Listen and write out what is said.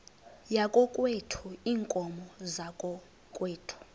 yakokwethu iinkomo zakokwethu